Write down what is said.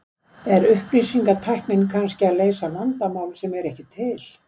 Er upplýsingatæknin kannski að leysa vandamál sem er ekki til?